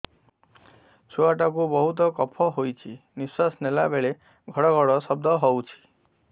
ଛୁଆ ଟା କୁ ବହୁତ କଫ ହୋଇଛି ନିଶ୍ୱାସ ନେଲା ବେଳେ ଘଡ ଘଡ ଶବ୍ଦ ହଉଛି